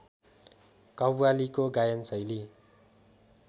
कव्वालीको गायन शैली